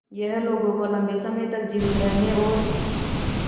यह लोगों को लंबे समय तक जीवित रहने और